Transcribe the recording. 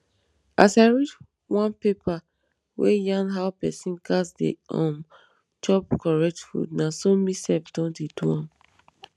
as i read one paper wey yarn how pesin gas dey um chop correct food na so me sef don dey do am